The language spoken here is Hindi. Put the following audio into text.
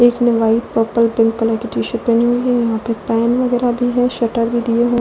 एक ने वाइट पर्पल पिंक टीशर्ट भी पहनी हुई है यहाँ पर पेन वगेरह भी है शटर भी दिए हुआ --